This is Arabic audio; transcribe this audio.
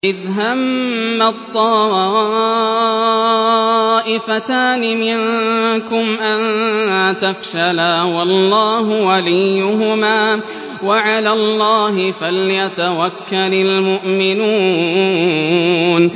إِذْ هَمَّت طَّائِفَتَانِ مِنكُمْ أَن تَفْشَلَا وَاللَّهُ وَلِيُّهُمَا ۗ وَعَلَى اللَّهِ فَلْيَتَوَكَّلِ الْمُؤْمِنُونَ